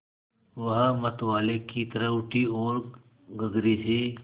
वह मतवाले की तरह उठी ओर गगरे से